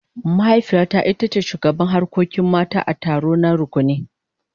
Mahaifiyata ita ce shugabar harkokin mata a taronta na rukuni.